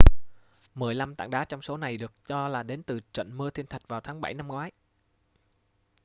mười lăm tảng đá trong số này được cho là đến từ trận mưa thiên thạch vào tháng 7 năm ngoái